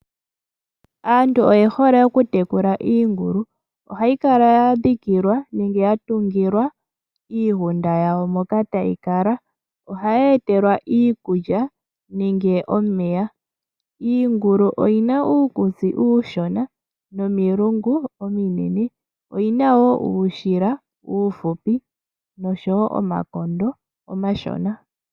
Aantu oyehole okutekula iingulu . Ohayi kala ya dhikilwa nenge ya tungilwa iigunda yawo moka tayi kala . Ohayi etelwa iikulya nenge omeya . Iingulu oyina uukutsi uushona nomilungu ominene oyina woo uushila uuhupi noshowo omakondo omashona.